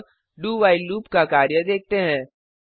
अब do while loop का कार्य देखते हैं